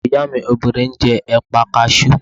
Ọmọ ìyá mi obìnrin ń jẹ́ ẹ̀pà kasú